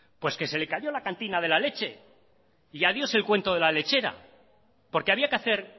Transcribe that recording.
pues que se le cayó la cantina de la leche y adiós el cuento de la lechera porque había que hacer